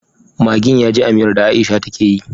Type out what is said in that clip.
Maggin yaji a miyar da aisha take yi